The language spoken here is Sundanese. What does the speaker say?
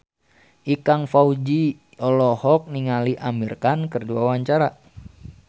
Ikang Fawzi olohok ningali Amir Khan keur diwawancara